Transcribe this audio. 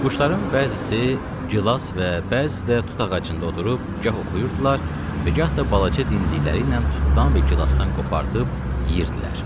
Quşların bəzisi gilas və bəzisi də tut ağacında oturub gah oxuyurdular və gah da balaca dimdikləriylə tutdan və gilasdan qopardıb yeyirdilər.